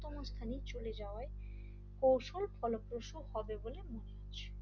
তম স্থানে চলে যাওয়ায় কৌশল ফলপ্রসু হবে বলে মনে আছে দুর্নীতির কারণ